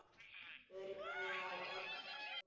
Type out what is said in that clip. Öryggið á oddinn!